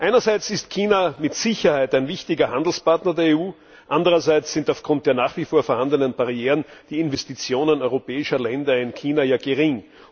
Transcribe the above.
Einerseits ist China mit Sicherheit ein wichtiger Handelspartner der EU, andererseits sind aufgrund der nach wie vor vorhandenen Barrieren die Investitionen europäischer Länder in China gering.